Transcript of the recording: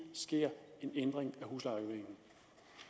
sker en ændring